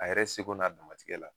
A yɛrɛ seko n'a damatigɛ la